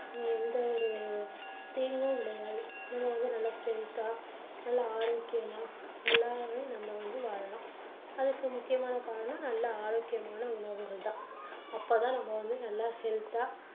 எந்த ஒரு தீங்கும் விளையாது. நம்ம வந்து நல்லா strength தா நல்ல ஆரோக்கியமா நல்லாவே நம்ம வந்து வாழலாம். அதுக்கு முக்கியமான காரணம் நல்ல ஆரோக்கியமான உணவுகள் தான். அப்போ தான் நம்ப வந்து நல்ல health தா